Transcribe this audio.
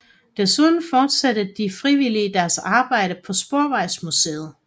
Desuden fortsatte de frivillige deres arbejde på Sporvejsmuseet